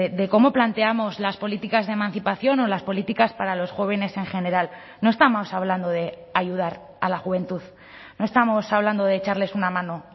de cómo planteamos las políticas de emancipación o las políticas para los jóvenes en general no estamos hablando de ayudar a la juventud no estamos hablando de echarles una mano